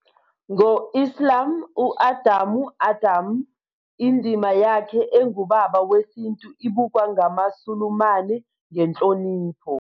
Ngo Islam, u-Adamu Ādam, indima yakhe engubaba wesintu, ibukwa ngamaSulumane ngenhlonipho.